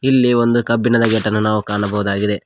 ಇಲ್ಲಿ ಒಂದು ಕಬ್ಬಿಣದ ಗೇಟ್ ಅನ್ನು ಕಾಣಬೋದಾಗಿದೆ.